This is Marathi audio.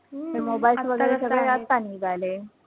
mobiles वैगरे आता निघाले.